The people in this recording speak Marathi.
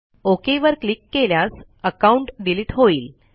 ओक वर क्लिक केल्यास अकाउंट डिलीट होईल